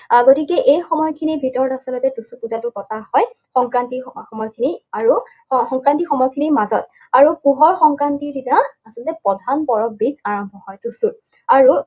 আহ গতিকে এই সময়খিনিৰ ভিতৰত আচলতে টুচু পূজাটো পতা হয়, সংক্ৰান্তিৰ সময়খিনি আৰু আহ সংক্ৰান্তিৰ সময়খিনিৰ মাজত। আৰু পুহৰ সংক্ৰান্তিৰ দিনা, আচলতে প্ৰধান পৰৱবিধ আৰম্ভ হয় টুচুৰ। আৰু